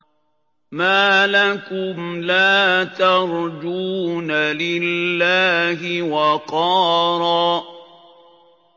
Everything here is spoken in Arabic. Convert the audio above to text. مَّا لَكُمْ لَا تَرْجُونَ لِلَّهِ وَقَارًا